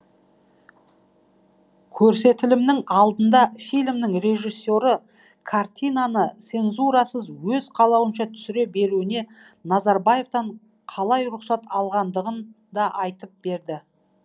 көрсетілімнің алдында фильмнің режиссері картинаны цензурасыз өз қалауынша түсіре беруіне назарбаевтан қалай рұқсат алғанындығын да айтып берді